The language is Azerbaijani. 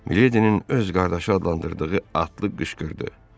Miledinin öz qardaşı adlandırdığı atlı qışqırdı.